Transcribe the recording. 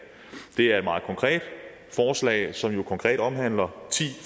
det er et meget konkret forslag som jo konkret omhandler ti